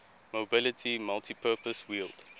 mobility multipurpose wheeled